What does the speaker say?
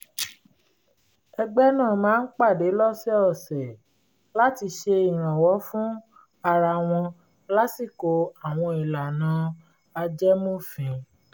ẹgbẹ́ náà máa ń pàdé lọ́sọ̀ọ̀sẹ̀ láti ṣe ìrànwọ́ fún ara wọn lásìkò àwọn ìlànà ajẹmófin